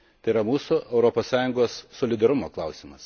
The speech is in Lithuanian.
Tai yra mūsų, Europos Sąjungos, solidarumo klausimas.